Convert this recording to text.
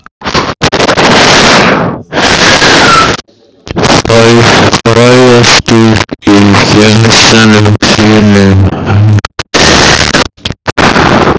Frægastur í gemsanum þínum?